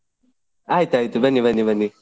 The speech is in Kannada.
ಆಯ್ತ್ ಆಯ್ತ್ ಬನ್ನಿ ಬನ್ನಿ ಬನ್ನಿ.